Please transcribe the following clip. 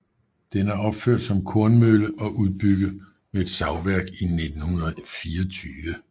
Den er opført som kornmølle og udbygget med et savværk i 1924